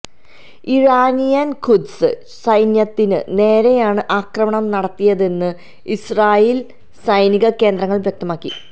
Iranian ഖുദ്സ് സൈന്യത്തിന് നേരെയാണ് ആക്രമണം നടത്തിയതെന്ന് ഇസ്റാഈല് സൈനിക കേന്ദ്രങ്ങള് വ്യക്തമാക്കി